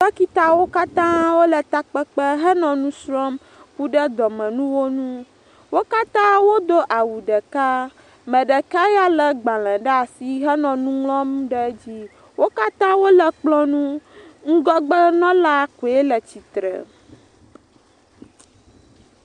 Dɔkitawo katã wole takpekpe hele nu srɔ̃m ku ɖe dɔmenuwo ŋu. Wo katã wodo awu ɖeka me ɖeka ya lé agbalẽ ɖe asi hele kplɔ ŋu. Ŋgɔgbenɔla koe le tsitre.